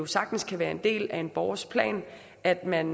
sagtens kan være en del af en borgers plan at man